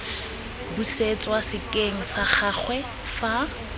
busetswa sekeng sa gagwe fa